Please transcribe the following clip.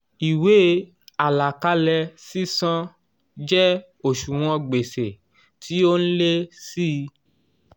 ìwé àlàkalẹ̀ sísan jẹ́ òṣùwọ̀n gbèsè tí ó n lé sí í